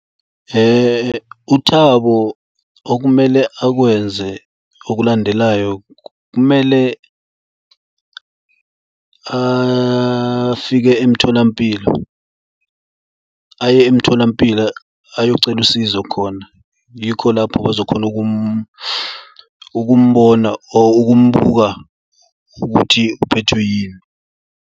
UThabo okumele akwenze okulandelayo kumele afike emtholampilo aye emtholampilo ayocela usizo khona. Yikho lapho bazokhona ukumbona or ukumbuka ukuthi uphethwe yini.